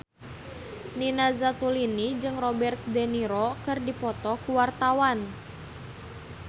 Nina Zatulini jeung Robert de Niro keur dipoto ku wartawan